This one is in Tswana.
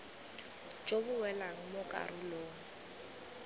jo bo welang mo karolong